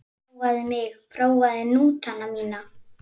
Prófaðu mig, prófaðu hnútana mína.